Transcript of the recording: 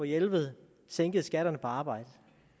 jelved sænkede skatterne på arbejde